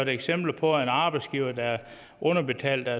eksempler på at en arbejdsgiver der underbetaler